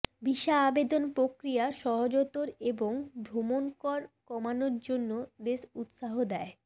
visa আবেদন প্রক্রিয়া সহজতর এবং ভ্রমণ কর কমানোর জন্য দেশ উত্সাহ দেয়